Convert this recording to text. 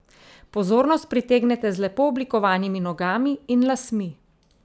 Pozornost pritegnete z lepo oblikovanimi nogami in lasmi.